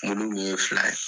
Mulu kun ye fila ye.